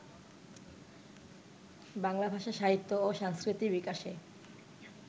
বাংলা ভাষা, সাহিত্য ও সংস্কৃতির বিকাশে